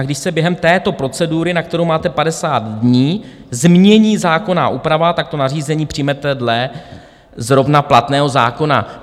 A když se během této procedury, na kterou máte 50 dní, změní zákonná úprava, tak to nařízení přijmete dle zrovna platného zákona."